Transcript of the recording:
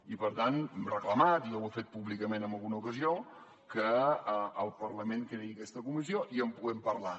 i per tant hem reclamat i jo ho he fet públicament en alguna ocasió que el parlament creï aquesta comissió i en puguem parlar